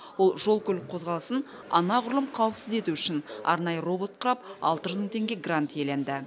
ол жол көлік қозғалысын анағұрлым қауіпсіз ету үшін арнайы робот құрап алты жүз мың теңге грант иеленді